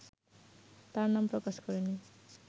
তার নাম প্রকাশ করেনি